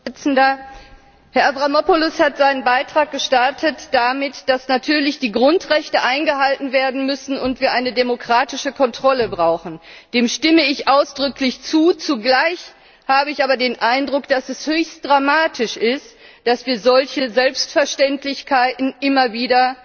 Herr Präsident! Herr Avramopoulos hat seinen Beitrag damit gestartet, dass natürlich die Grundrechte eingehalten werden müssen und wir eine demokratische Kontrolle brauchen. Dem stimme ich ausdrücklich zu. Zugleich habe ich aber den Eindruck, dass es höchst dramatisch ist, dass wir solche Selbstverständlichkeiten immer wieder